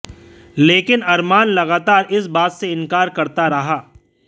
लेकिन अरमान लगातार इस बात से इंकार करता रहा